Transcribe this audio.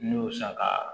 N'i y'o san ka